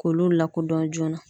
K'olu lakodɔn joona.